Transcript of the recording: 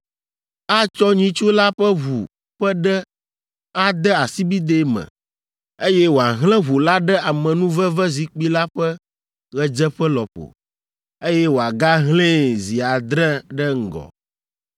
Atsɔ nyitsu la ƒe ʋu ƒe ɖe ade asibidɛ eme, eye wòahlẽ ʋu la ɖe amenuvevezikpui la ƒe ɣedzeƒe lɔƒo, eye wòagahlẽe zi adre ɖe eŋgɔ.